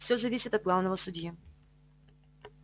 всё зависит от главного судьи